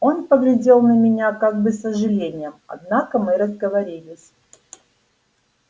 он поглядел на меня как бы с сожалением однако мы разговорились